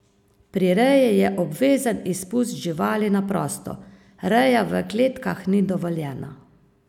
Pri reji je obvezen izpust živali na prosto, reja v kletkah ni dovoljena.